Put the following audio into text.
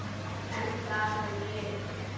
En það hef ég gert.